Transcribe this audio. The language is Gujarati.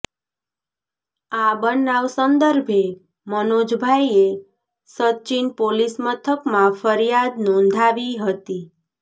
આ બનાવ સંદર્ભે મનોજભાઇએ સચીન પોલીસ મથકમાં ફરીયાદ નોંધાવી હતી